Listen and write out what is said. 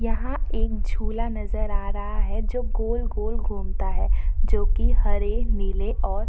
यहाँ एक झूला नजर आ रहा है जो गोल-गोल घूमता है जो कि हरे नीले और --